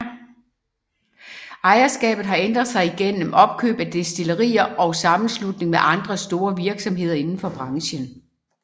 Ejerskabet har ændret sig gennem opkøb af destillerier og sammenslutning med andre store virksomheder inden for branchen